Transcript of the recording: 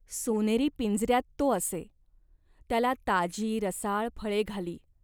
सोनेरी पिंजऱ्यात तो असे. त्याला ताजी रसाळ फळे घाली.